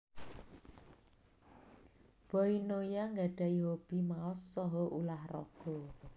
Boy Noya nggadhahi hobi maos saha ulah raga